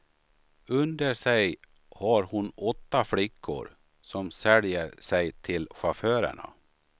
Under sig har hon åtta flickor, som säljer sig till chaufförerna.